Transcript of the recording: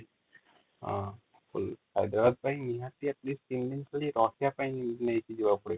missing text